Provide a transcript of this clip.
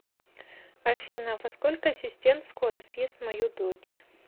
афина во сколько ассистент скоро съест мою дочь